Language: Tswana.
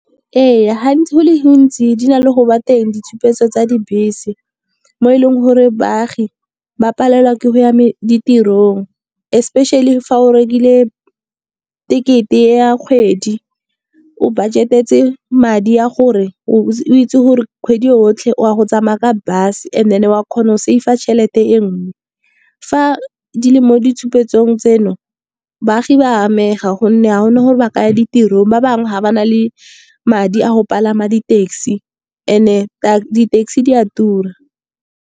Ee, gantsi go le gontsi di na le go nna teng ditshupetso tsa dibese. Mo e leng gore baagi ba palelwa ke go ya ditirong, especially fa o rekile tekete ya kgwedi. O budget-etse madi a gore o itse gore kgwedi yotlhe o a go tsamaya ka bus and then wa kgona go save-a tšhelete e nngwe. Fa di le mo ditshupetsong tseno, baagi ba amega gonne ga gona gore ba ka ya ditirong. Ba bangwe ga ba na le madi a go palama di- taxi and-e di-taxi di a tura.